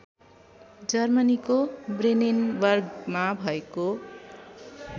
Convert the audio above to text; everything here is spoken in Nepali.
जर्मनीको ब्रेनेनबर्गमा भएको